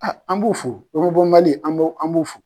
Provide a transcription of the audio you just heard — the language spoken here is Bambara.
Aa an b'u fo , an b'u b'u fo.